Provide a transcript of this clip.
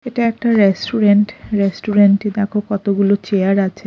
এটা একটা রেস্টুরেন্ট রেস্টুরেন্টে দেখো কতগুলো চেয়ার আছে।